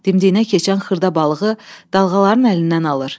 Dimdiyinə keçən xırda balığı dalğaların əlindən alır.